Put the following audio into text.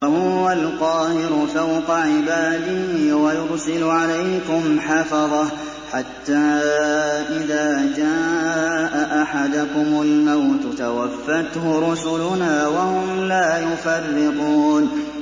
وَهُوَ الْقَاهِرُ فَوْقَ عِبَادِهِ ۖ وَيُرْسِلُ عَلَيْكُمْ حَفَظَةً حَتَّىٰ إِذَا جَاءَ أَحَدَكُمُ الْمَوْتُ تَوَفَّتْهُ رُسُلُنَا وَهُمْ لَا يُفَرِّطُونَ